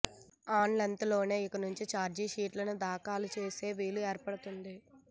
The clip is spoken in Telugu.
ఆన్లైన్లోనే ఇక నుం చి చార్జిషీట్లను దాఖలు చేసే వీలు ఏర్పడబోతుంది